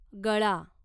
गळा